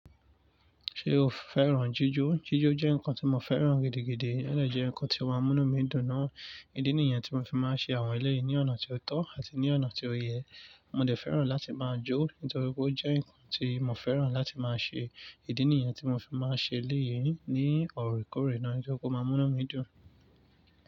Ṣé o fẹ́ràn jíjó? Jíjó jẹ́ nǹkan tí mo fẹ́ràn gidigidi, o de jẹ́ nǹkan tí ó máa ń mú inu mí dùn ná. Ìdí nìyẹn tí mo fi máa ń ṣe àwọn eléyìí ní ọ̀nà tí ó tọ́ àti ní ọ̀nà tí ó yẹ. Mo dẹ̀ fẹ́ràn láti máa jó, nítorí pé ó jẹ́ nǹkan tí mo fẹ́ràn láti máa ṣe. Ìdí nìyẹn tí mo fi máa ń ṣe eléyìí ní òrékòórè náà, nítorí ó máa ń mú inu mí dùn.